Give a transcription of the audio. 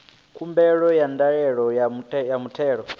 khumbelo ya ndaela ya muthelo